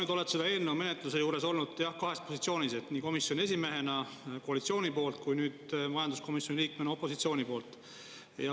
Sa oled selle eelnõu menetluse juures olnud kahes positsioonis, nii komisjoni esimehena koalitsiooni poolt kui nüüd majanduskomisjoni liikmena opositsiooni poolt.